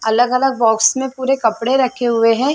अलग -अलग बॉक्स में पुरे कपड़े रखे हुए है।